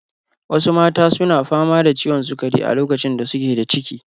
Wasu mata su na fama da ciwon sukari a lokacin da su ke da ciki.